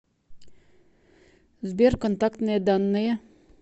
сбер контактные данные